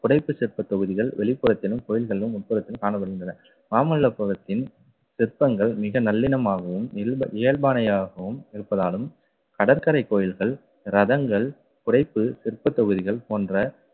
புடைப்பு சிற்ப தொகுதிகள் வெளிப்புறத்திலும் கோயில்களிலும் உட்புறத்திலும் காணப்படுகின்றன. மாமல்லபுரத்தின் சிற்பங்கள் மிக நல்லிணமாகவும் இல்ப~ இயல்பானதாகவும் இருப்பதாலும் கடற்கரை கோயில்கள் ரதங்கள் புடைப்பு சிற்பத் தொகுதிகள் போன்ற